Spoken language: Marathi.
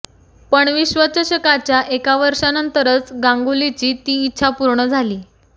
पण विश्वचषकाच्या एका वर्षानंतरच गांगुलीची ती इच्छा पूर्ण झाली